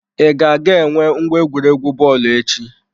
I ga-aga enwe ngwa egwuregwu bọọlụ echi?